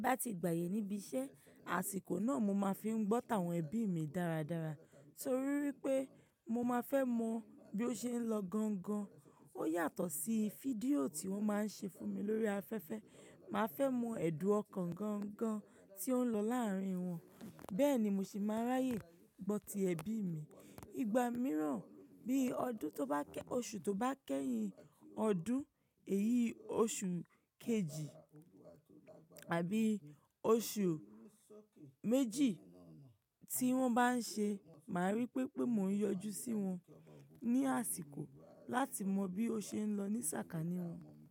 Tí n bá ti gbàyè níbi iṣẹ́, àsìkò náà mo máa fi ń gbọ́ta àwọn ẹbí mi dáradára torí wípé mo máa fẹ́ mọ bí ó ṣe ń lọ gan-an gan, ó yàtọ̀ sí fídíò tí wọ́n máa ń ṣe fún mi lórí afẹ́fẹ́, màá fẹ́ mọ èdùn ọkàn gan-an gan tí ó ń lọ láàárín wọn. Bẹ́ẹ̀ ni mo sì máa ráyè gbọ́ ti ẹbí mi. Ìgbà mìíràn bí ọdún tó bá kẹ́, oṣù tó bá kẹ́yìn ọdún èyí oṣù kejì àbí oṣù méjì tí wọ́n bá ń ṣe, màá rí pé pé mò ń yọjú sí wọn ní àsìkò láti mọ bí ó ṣe ń lọ ní sàkání wọn.